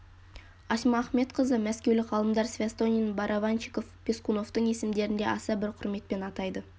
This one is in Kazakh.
асма ахметқызы мәскеулік ғалымдар свястонин барабанщиков пескуновтың есімдерін де аса бір құрметпен атайды